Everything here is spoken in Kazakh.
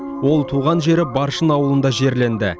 ол туған жері баршын ауылында жерленді